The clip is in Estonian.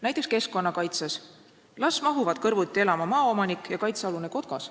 Näiteks keskkonnakaitse: las mahuvad kõrvuti elama maaomanik ja kaitsealune kotkas.